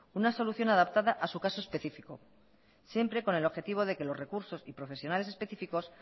una solución adaptada a su caso específico siempre con el objetivo de que los recursos y profesionales específicos